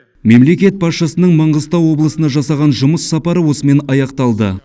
мемлекет басшысының маңғыстау облысына жасаған жұмыс сапары осымен аяқталды